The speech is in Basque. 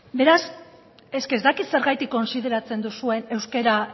eske ez dakit zergatik kontsideratzen duzuen euskara